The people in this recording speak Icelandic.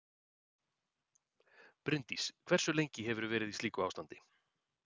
Bryndís: Hversu lengi hefur þú verið í slíku ástandi?